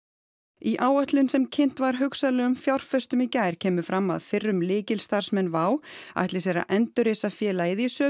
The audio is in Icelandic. í áætlun sem kynnt var hugsanlegum fjárfestum í gær kemur fram að fyrrum lykilstarfsmenn WOW ætli sér að endurreisa félagið í sömu